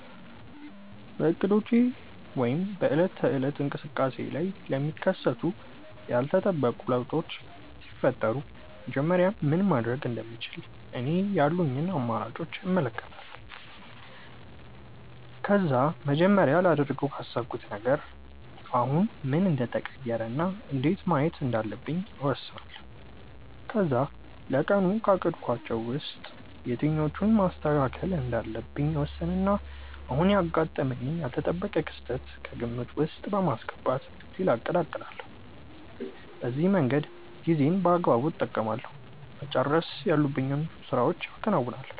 በእቅዶቼ ወይም በዕለት ተዕለት እንቅስቃሴዬ ላይ ለሚከሰቱ ያልተጠበቁ ለውጦች ሲፈጠሩ መጀመሪያ ምን ማድረግ እንደምችል እኔ ያሉኝን አማራጮች እመለከታለሁ። ከዛ መጀመሪያ ላደርገው ካሰብኩት ነገር አሁን ምን እንደተቀየረ እና እንዴት ማየት እንዳለብኝ እወስናለሁ። ከዛ ለቀኑ ካቀድኳቸው ውስጥ የትኞቹን ማስተካከል እንዳለብኝ እወስንና አሁን ያጋጠመኝን ያልተጠበቀ ክስተት ከግምት ውስጥ በማስገባት ሌላ እቅድ አቅዳለሁ። በዚህ መንገድ ጊዜዬን በአግባቡ እጠቀማለሁ፤ መጨረስ ያሉብኝን ስራዎችም አከናውናለሁ።